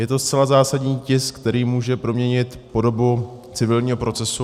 Je to zcela zásadní tisk, který může proměnit podobu civilního procesu.